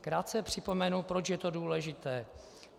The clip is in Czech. Krátce připomenu, proč je to důležité.